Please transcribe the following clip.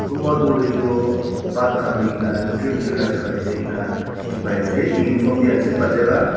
kunba tu hoile tu pat khan loi kina nijor nijor jagah jaiki na dekhi pai ase uniform ase pas jagah.